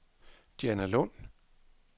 Dianalund